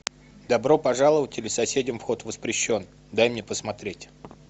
добро пожаловать или соседям вход воспрещен дай мне посмотреть